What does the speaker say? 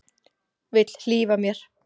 Vill hlífa mér.